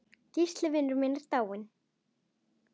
Gísli vinur minn er dáinn.